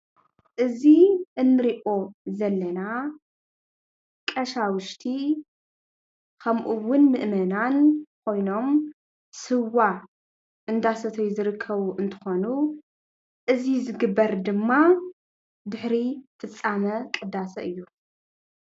እዚ እንሪኦ ዘለና ቀሻውሽቲ ከምኡ እውን ምእመናን ኮይኖም ስዋ እንዳሰተዩ ዝርከቡ እንትኾኑ እዚ ዝግበር ድማ ድሕሪ ፍፃመ ቅዳሰ እዩ፡፡